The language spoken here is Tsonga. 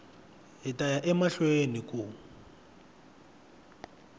hi ta ya emahlweni ku